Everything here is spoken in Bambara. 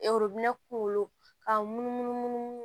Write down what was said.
kungolo ka munumunu munu